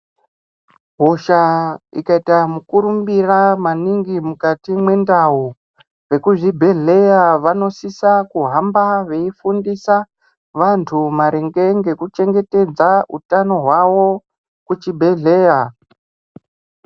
Hosha ikayita mukurumbira maningi mukati mwendawu, vekuzvibhedhleya vanosisa kuhamba veyifundisa vantu maringe ngekuchengetedza hutano wawo kuchibhedhleya.